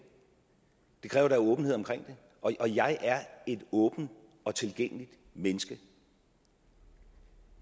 det kræver da åbenhed omkring det og jeg er et åbent og tilgængeligt menneske